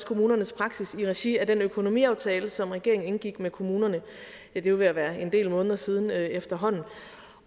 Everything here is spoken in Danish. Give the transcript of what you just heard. kommunernes praksis i regi af den økonomiaftale som regeringen indgik med kommunerne det er jo ved at være en del måneder siden efterhånden